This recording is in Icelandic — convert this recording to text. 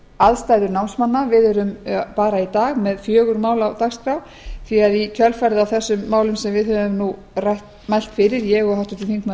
aðstæður námsmanna við erum í dag með fjögur mál á dagskrá því að í kjölfarið á þessum málum sem við höfum mælt fyrir ég og háttvirtir þingmenn